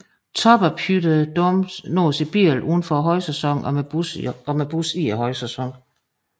Toppen af Puy de Dôme nås i bil uden for højsæsonen og med bus i højsæsonen